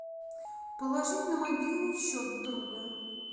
положить на мобильный счет друга